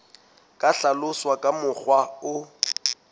ka hlaloswa ka mokgwa o